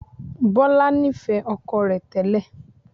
Bọlá nifẹ ọkọ rẹ tẹ́lẹ̀